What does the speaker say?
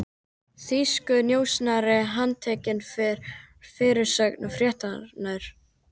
Þýskur njósnari handtekinn, var fyrirsögn fréttarinnar.